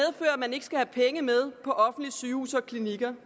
man ikke skal have penge med på offentlige sygehuse og klinikker